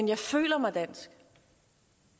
jeg føler mig dansk